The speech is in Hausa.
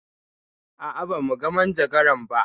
A'a, ba mu ga majagaran ba.